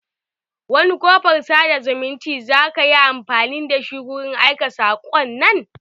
Wani kofar sada zumunci zaka yi amfani da shi wurin aika saƙon nan?